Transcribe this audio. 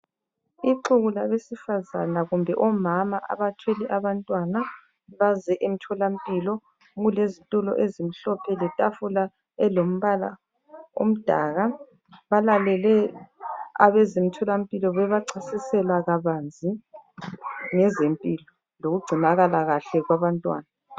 Ixuku labesifazana kumbe omama abathwele abantwana baze emtholampilo, kulezitulo ezimhlophe letafula elombala omdaka balalele abezomtholampilo bebachasisela kabanzi ngezempilo lokugcinakala kahle kwabantwana.